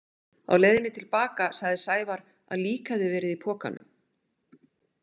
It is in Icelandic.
Á leiðinni til baka sagði Sævar að lík hefði verið í pokanum.